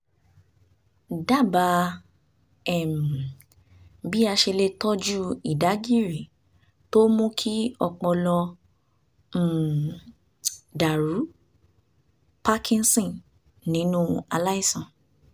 dábàá um bí a ṣe lè tọ́jú ìdágìrì tó mú kí ọpọlọ um dàrú (parkinson) nínú aláìsàn